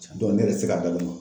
ne yɛrɛ tɛ se k'a da dɔn.